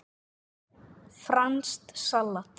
Franskt salat